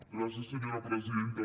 gràcies senyora presidenta